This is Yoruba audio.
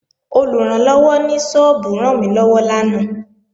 Olùrànlọ́wọ́ ní sọ́ọ́bù rànmílọ́wọ́ lánàá